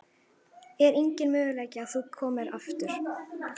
Er enginn möguleiki á að þú komir aftur?